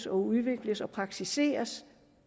udvikles og praktiseres